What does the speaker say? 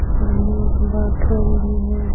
सामने एक बाथरूम भी है।